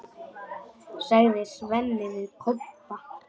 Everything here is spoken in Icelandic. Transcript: sagði Svenni við Kobba.